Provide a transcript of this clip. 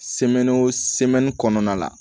kɔnɔna la